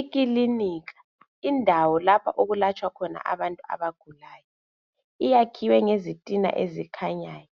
Ikilinika indawo lapho okulatshwa khona abantu abagulayo. Iyakhiwe ngezitina ezikhanyayo.